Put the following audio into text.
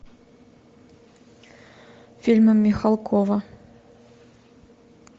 фильмы михалкова